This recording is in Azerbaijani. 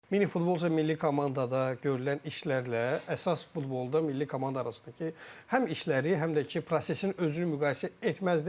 Mini futbol üzrə milli komandada görülən işlərlə əsas futbolda milli komanda arasındakı həm işləri, həm də ki, prosesin özünü müqayisə etməzdim.